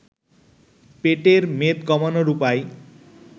পেটের মেদ কমানোর উপায়